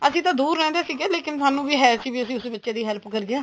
ਅਸੀਂ ਤਾਂ ਦੂਰ ਰਹਿੰਦੇ ਸੀਗੇ ਲੇਕਿਨ ਸਾਨੂੰ ਵੀ ਹੈ ਸੀ ਵੀ ਅਸੀਂ ਉਸ ਬੱਚੇ ਦੀ help ਕਰੀਏ